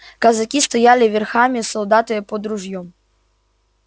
казаки стояли верхами солдаты под ружьём